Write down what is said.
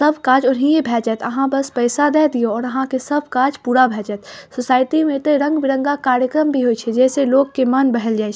सब काज ओहीं भै जैत अहाँ बस पैसा दे दियो और अहाँ के सब काज पूरा भै जत सोसाइटी में त रंग-बिरंगा कार्यक्रम भी होए छे जेसे लोग के मन बहल जाए।